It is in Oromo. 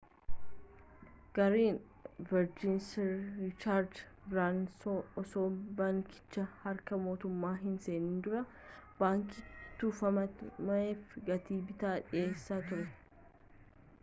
gareen verjin' sir riichaardi biraansan osoo baankichi harka mootummaa hin seenin dura baankii tufameef gatii bittaa dhiyeessee ture